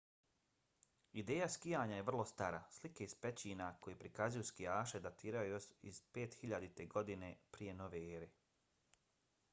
ideja skijanja vrlo je stara - slike iz pećina koje prikazuju skijaše datiraju još iz 5000. godine p.n.e.!